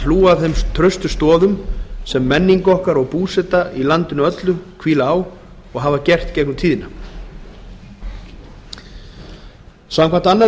hlúa að þeim traustu stoðum sem menning okkar og búseta í landinu öllu hvíla á og hafa gert gegnum tíðina samkvæmt annarri